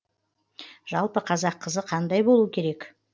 жалпы қазақ қызы қандай болу керек